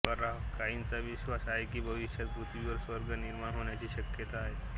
काहींचा विश्वास आहे की भविष्यात पृथ्वीवर स्वर्ग निर्माण होण्याची शक्यता आहे